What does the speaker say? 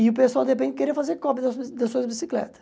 E o pessoal, de repente, queria fazer cópia das suas das suas bicicletas.